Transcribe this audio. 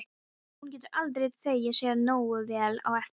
Og hún getur aldrei þvegið sér nógu vel á eftir.